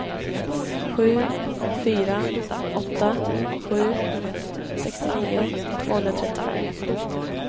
sju fyra åtta sju sextionio tvåhundratrettiofem